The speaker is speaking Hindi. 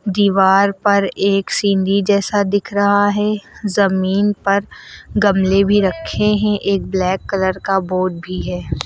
दीवार पर एक सीढ़ी जैसा दिख रहा है जमीन पर गमले भी रखे हैं एक ब्लैक कलर का बोर्ड भी है।